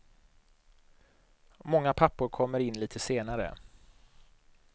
Många pappor kommer in lite senare.